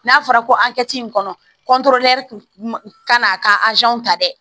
N'a fɔra ko an kɛ ci in kɔnɔ ka n'a ka ta dɛ